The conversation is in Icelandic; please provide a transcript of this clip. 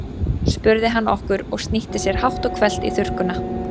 spurði hann okkur og snýtti sér hátt og hvellt í þurrkuna.